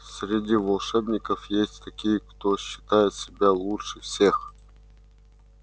среди волшебников есть такие кто считает себя лучше всех